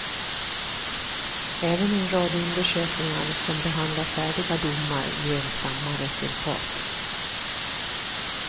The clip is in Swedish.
Även en rad undersökningar som behandlar färdiga domar ger samma resultat.